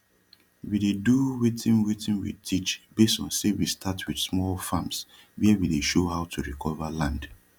we dey do wetin wetin we teach base on say we start wit small farms wia we dey show how to recova land